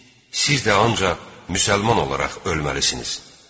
Siz də ancaq müsəlman olaraq ölməlisiniz.